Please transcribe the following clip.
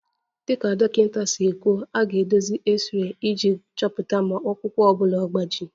Dịka dọkịta si kwuo, a ga-eduzi x-ray iji chọpụta ma ọkpụkpụ ọ bụla agbaji